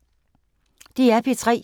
DR P3